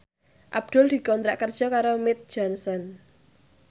Abdul dikontrak kerja karo Mead Johnson